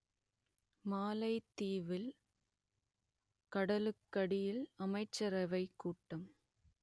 மாலைதீவில் கடலுக்கடியில் அமைச்சரவைக் கூட்டம்